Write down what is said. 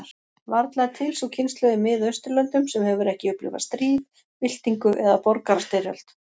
Varla er til sú kynslóð í Mið-Austurlöndum sem hefur ekki upplifað stríð, byltingu, eða borgarastyrjöld.